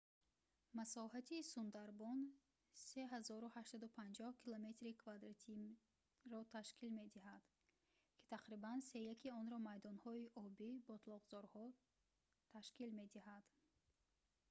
масоҳати сундарбон 3850 км² ташкил медиҳад ки тақрибан сеяки онро майдонҳои обӣ/ботлоқзорҳо ташкил медиҳад